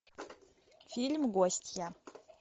фильм гостья